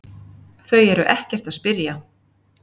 Þau eru ekkert að spyrja